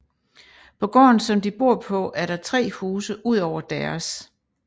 På gården som de bor på er der tre huse udover deres